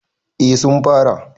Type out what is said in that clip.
eh sun fara